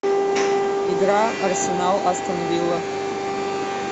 игра арсенал астон вилла